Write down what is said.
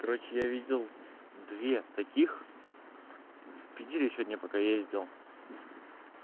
короче я видел две таких в питере сегодня пока ездил